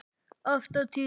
Oft á tíðum.